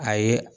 A ye